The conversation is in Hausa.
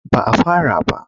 Ba a fara ba.